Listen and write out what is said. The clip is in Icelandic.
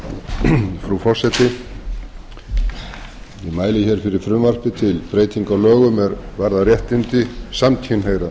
frú forseti ég mæli fyrir frumvarpi til breytinga á lögum er varðar réttindi samkynhneigðra